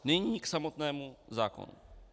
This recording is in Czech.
Nyní k samotnému zákonu.